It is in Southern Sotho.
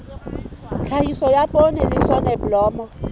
tlhahiso ya poone le soneblomo